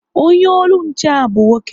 Onye olu nche ha bụ nwoke